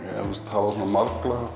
hafa